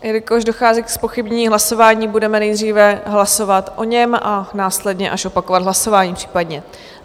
Jelikož dochází ke zpochybnění hlasování, budeme nejdříve hlasovat o něm a následně až opakovat hlasování případně.